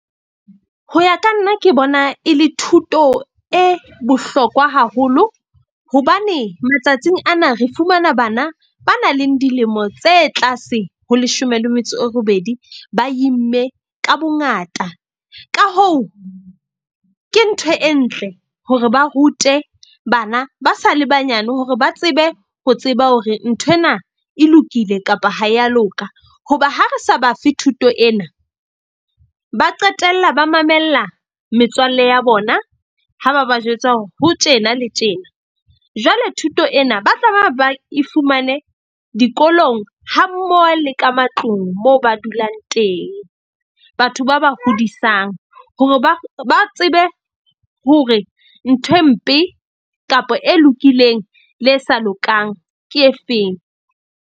Ho ya ka nna ke bona e le thuto e bohlokwa haholo hobane matsatsing ana re fumana bana ba na leng dilemo tse tlase ho leshome le metso e robedi ba imme ka bongata. Ka hoo, ke ntho e ntle hore ba rute bana ba sa le banyane hore ba tsebe ho tseba hore nthwena e lokile kapa ha ya loka. Hoba ha re sa bafe thuto ena, ba qetella ba mamella metswalle ya bona, ha ba ba jwetsa hore ho tjena le tjena. Jwale thuto ena ba tlameha ba e fumane dikolong hammoho le ka matlung moo ba dulang teng. Batho ba ba hodisang hore ba tsebe hore nthwe mpe kapa e lokileng le e sa lokang ke efeng.